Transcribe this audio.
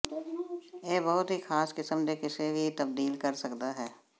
ਇਹ ਬਹੁਤ ਹੀ ਖਾਸ ਕਿਸਮ ਦੇ ਕਿਸੇ ਵੀ ਤਬਦੀਲ ਕਰ ਸਕਦਾ ਹੈ